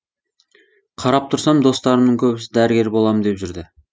қарап тұрсам достарымның көбісі дәрігер болам деп жүрді